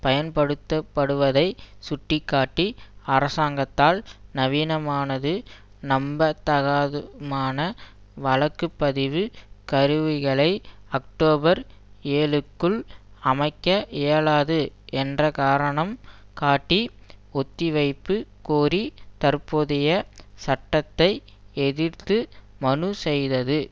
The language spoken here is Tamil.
பயன்படுத்தப்படுவதைச் சுட்டி காட்டி அரசாங்கத்தால் நவீனமானது நம்பத்தகாதுமான வாக்குப்பதிவுக் கருவிகளை அக்டோபர் ஏழுக்குள் அமைக்க இயலாது என்ற காரணம் காட்டி ஒத்திவைப்பு கோரி தற்போதைய சட்டத்தை எதிர்த்து மனுச்செய்தது